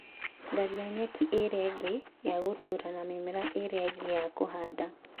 Tharia nyeki ĩrĩa ĩngĩ ya gũtũũra na mĩmera ĩrĩa ĩngĩ ya kũhanda.